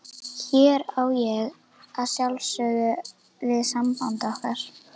Hér á ég að sjálfsögðu við samband okkar.